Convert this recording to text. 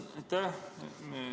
Aitäh!